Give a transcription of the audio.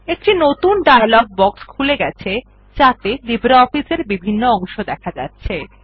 একটি নতুন dialogue box খুলে গেছে যাতে লিব্রিঅফিস এর বিভিন্ন অংশ দেখা যাচ্ছে